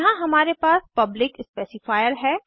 यहाँ हमारे पास पब्लिक स्पेसिफायर है